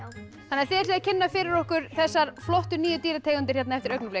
þannig að þið ætlið að kynna fyrir okkur þessar flottu nýju dýrategundir hérna eftir augnablik